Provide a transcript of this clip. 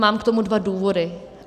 Mám k tomu dva důvody.